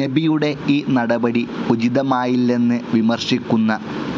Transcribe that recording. നബിയുടെ ഈ നടപടി ഉചിതമായില്ലെന്ന് വിമർശിക്കുന്ന